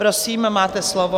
Prosím, máte slovo.